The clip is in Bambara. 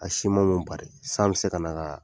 A simanw bari , san bɛ se ka na ka'a